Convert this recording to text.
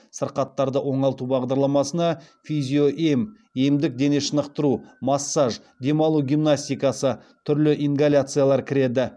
сырқаттарды оңалту бағдарламасына физиоем емдік денешынықтыру массаж демалу гимнастикасы түрлі ингаляциялар кіреді